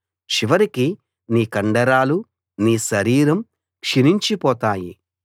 చివరికి నీ కండరాలు నీ శరీరం క్షీణించిపోతాయి